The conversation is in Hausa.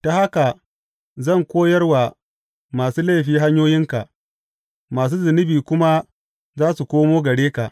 Ta haka zan koyar wa masu laifi hanyoyinka, masu zunubi kuma za su komo gare ka.